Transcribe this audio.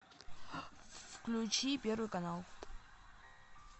включи первый канал